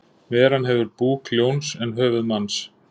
Veran hefur búk ljóns en höfuð manns.